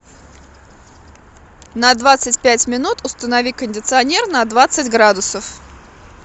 на двадцать пять минут установи кондиционер на двадцать градусов